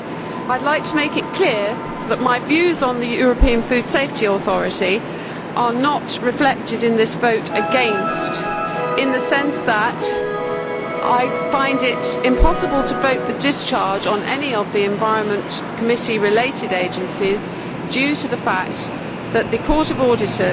I would like to make it clear that my views on the European Food Safety Authority are not reflected in this vote against, in the sense that I find it impossible to vote for discharge on any of the Environment Committee related agencies due to the fact that the Court of Auditors